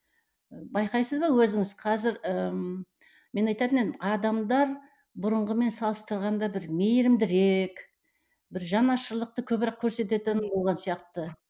байқайсыз ба өзіңіз қазір ыыы мен айтатын едім адамдар бұрынғымен салыстырғанда бір мейірімдірек бір жанашырлықты көбірек көрсететін сияқты